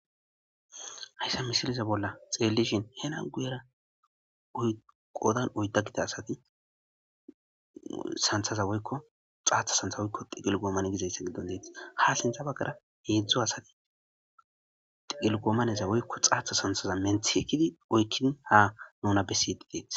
Hayssa misiliza bolla xelelishin hena guyera qoodan oydda gida asati santhaza woykko xaatha santha woykko tigelgoomane gizayssa giddon deTEES. Ha sintha bagara heedzdzu asati xigelgoomaneza woykko xaatha santhaza menthi ekidi oykkidin ha nuna besidi deetes.